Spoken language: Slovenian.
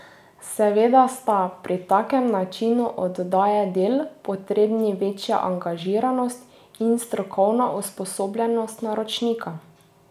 Seveda sta, pri takem načinu oddaje del, potrebni večja angažiranost in strokovna usposobljenost naročnika.